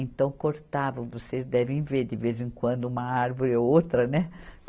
Então cortavam, vocês devem ver de vez em quando uma árvore ou outra, né?